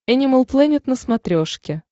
энимал плэнет на смотрешке